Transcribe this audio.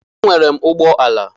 Enwere m ụgbọala.